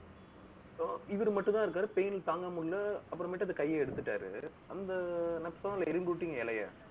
இப்போ இவரு மட்டும்தான் இருக்காரு. pain தாங்க முடியல, அப்புறமேட்டு அந்த கைய எடுத்துட்டாரு. அந்த இலைய